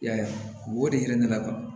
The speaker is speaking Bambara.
I y'a ye o de hinɛ ne la kɔni